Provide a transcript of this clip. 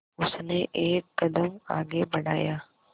उसने एक कदम आगे बढ़ाया